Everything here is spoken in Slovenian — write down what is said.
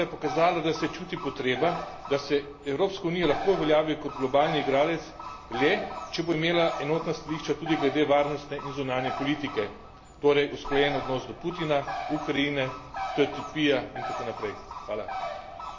Današnja razprava je pokazala, da se čuti potreba, da se Evropska unija lahko uveljavi kot globalni igralec le, če bo imela enotna stališča tudi glede varnostne in zunanje politike, torej usklajen odnos do Putina, Ukrajine, TTIP ja in tako naprej.